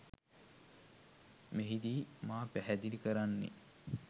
මෙහිදී මා පැහැදිලි කරන්නේ